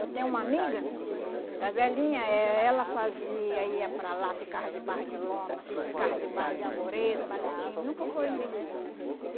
Eu tenho uma amiga, a velhinha, eh ela fazia, ia para lá, ficava debaixo de lona, ficava debaixo de arvoredo, tudinho, nunca foi indenizada.